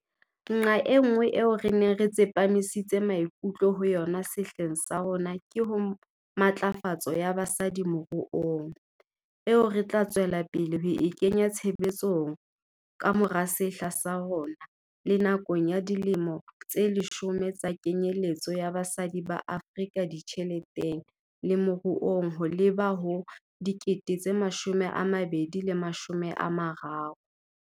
Nqa enngwe eo re neng re tsepamisitse maikutlo ho yona sehleng sa rona ke ho matlafatso ya basadi moruong, eo re tla tswela pele ho e kenya tshebetsong le ka mora sehla sa rona le nakong ya Dilemo tse Leshome tsa Kenyeletso ya Basadi ba Afrika Ditjheleteng le Moruong ho leba ho 2030.